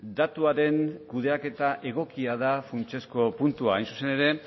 datuaren kudeaketa egokia da funtsezko puntua hain zuzen ere